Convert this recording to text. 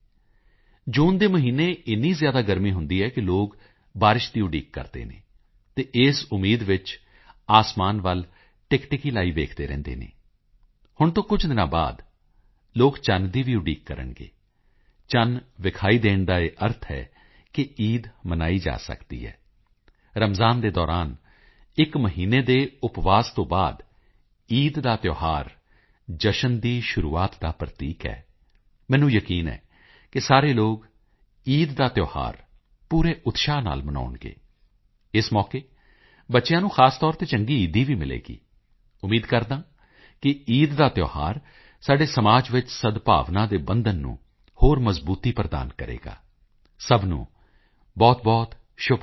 ਜੂਨ ਦੇ ਮਹੀਨੇ ਏਨੀ ਜ਼ਿਆਦਾ ਗਰਮੀ ਹੁੰਦੀ ਹੈ ਕਿ ਲੋਕ ਬਾਰਿਸ਼ ਦੀ ਉਡੀਕ ਕਰਦੇ ਹਨ ਅਤੇ ਇਸ ਉਮੀਦ ਵਿੱਚ ਅਸਮਾਨ ਵੱਲ ਟਿਕਟਿਕੀ ਲਾਈ ਵੇਖਦੇ ਰਹਿੰਦੇ ਹਨ ਹੁਣ ਤੋਂ ਕੁਝ ਦਿਨਾਂ ਬਾਅਦ ਲੋਕ ਚੰਨ ਦੀ ਵੀ ਉਡੀਕ ਕਰਨਗੇ ਚੰਨ ਵਿਖਾਈ ਦੇਣ ਦਾ ਇਹ ਅਰਥ ਹੈ ਕਿ ਈਦ ਮਨਾਈ ਜਾ ਸਕਦੀ ਹੈ ਰਮਜਾਨ ਦੇ ਦੌਰਾਨ ਇੱਕ ਮਹੀਨੇ ਦੇ ਉਪਵਾਸ ਤੋਂ ਬਾਅਦ ਈਦ ਦਾ ਤਿਓਹਾਰ ਜਸ਼ਨ ਦੀ ਸ਼ੁਰੂਆਤ ਦਾ ਪ੍ਰਤੀਕ ਹੈ ਮੈਨੂੰ ਯਕੀਨ ਹੈ ਕਿ ਸਾਰੇ ਲੋਕ ਈਦ ਦਾ ਤਿਓਹਾਰ ਪੂਰੇ ਉਤਸ਼ਾਹ ਨਾਲ ਮਨਾਉਣਗੇ ਇਸ ਮੌਕੇ ਬੱਚਿਆਂ ਨੂੰ ਖ਼ਾਸ ਤੌਰ ਤੇ ਚੰਗੀ ਈਦੀ ਵੀ ਮਿਲੇਗੀ ਉਮੀਦ ਕਰਦਾ ਹਾਂ ਕਿ ਈਦ ਦਾ ਤਿਓਹਾਰ ਸਾਡੇ ਸਮਾਜ ਵਿੱਚ ਸਦਭਾਵਨਾ ਦੇ ਬੰਧਨ ਨੂੰ ਹੋਰ ਮਜ਼ਬੂਤੀ ਪ੍ਰਦਾਨ ਕਰੇਗਾ ਸਭ ਨੂੰ ਬਹੁਤਬਹੁਤ ਸ਼ੁਭਕਾਮਨਾਵਾਂ